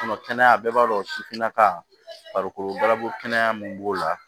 kɛnɛya bɛɛ b'a dɔn sifinnaka min b'o la